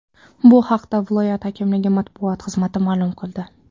Bu haqda viloyat hokimligi matbuot xizmati ma’lum qildi .